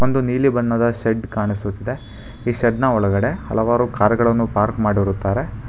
ಒಂದು ನೀಲಿ ಬಣ್ಣದ ಶೆಡ್ ಕಾಣಿಸುತ್ತಿದೆ ಈ ಶೆಡ್ ನ ಒಳಗಡೆ ಹಲವಾರು ಕಾರ್ ಗಳನ್ನು ಪಾರ್ಕ್ ಮಾಡಿರುತ್ತಾರೆ.